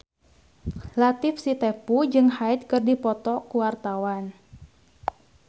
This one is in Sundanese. Latief Sitepu jeung Hyde keur dipoto ku wartawan